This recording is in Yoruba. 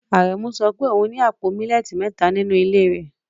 Aremus sọ pé òun ní àpò millet mẹ́ta nínú ilé rẹ̀